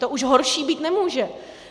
To už horší být nemůže.